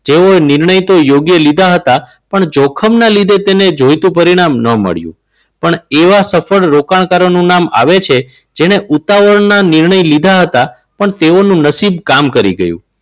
તેઓએ નિર્ણય તો યોગ્ય લીધા હતા પણ જોખમના લીધે તેને જોઈતું પરિણામ ન મળ્યું. પણ એવા સફળ રોકાણકારો નું નામ આવે છે જેને ઉતાવળના નિર્ણય લીધા હતા પણ તેઓનું નસીબ કામ કરી ગયું.